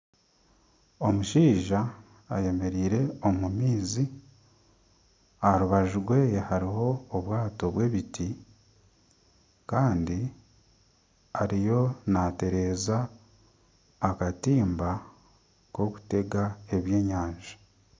Omushaija ayemereire omu maizi aha rubaju rweye hariho obwaato bw'ebiti kandi ariyo nateereza akatimba k'okutega ebyenyanja.